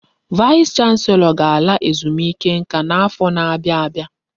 Vaịs chanselọ ga-ala ezumike nká n'afọ n'abia abịa